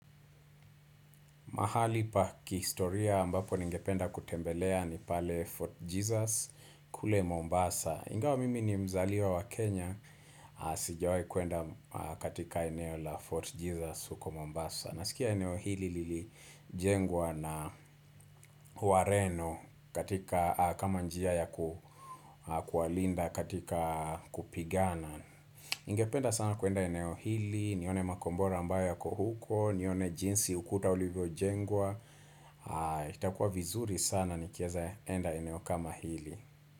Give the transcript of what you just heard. Mahali pa kihistoria ambapo ningependa kutembelea ni pale Fort Jesus kule Mombasa. Ingawa mimi ni mzaliwa wa Kenya, sijawahi kuenda katika eneo la Fort Jesus huko Mombasa. Nasikia eneo hili lilijengwa na uareno katika kama njia ya kuwalinda katika kupigana. Ningependa sana kuenda eneo hili, nione makombora ambayo yako huko, nione jinsi ukuta ulivyojengwa. Itakuwa vizuri sana nikieza enda eneo kama hili.